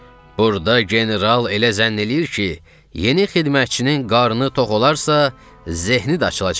Burda general elə zənn eləyir ki, yeni xidmətçinin qarnı tox olarsa, zehni də açılacaq.